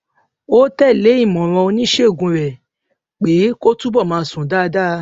ó tè lé ìmòràn oníṣègùn rè pé kó túbò máa sùn dáadáa